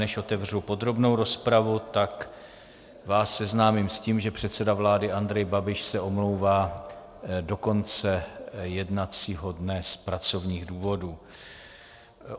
Než otevřu podrobnou rozpravu, tak vás seznámím s tím, že předseda vlády Andrej Babiš se omlouvá do konce jednacího dne z pracovních důvodů.